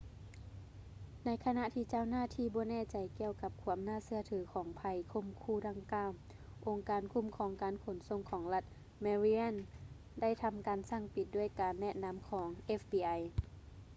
ໃນຂະນະທີ່ເຈົ້າໜ້າທີ່ບໍ່ແນ່ໃຈກ່ຽວກັບຄວາມໜ້າເຊື່ອຖືຂອງໄພຂົ່ມຂູ່ດັ່ງກ່າວ ອົງການຄຸ້ມຄອງການຂົນສົ່ງຂອງລັດ ແມຣີ່ແລນ maryland ໄດ້ທຳການສັ່ງປິດ ດ້ວຍການແນະນຳຂອງ fbi